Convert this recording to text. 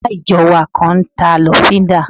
Ará ìjọ wa kan n ta lọ́fíndà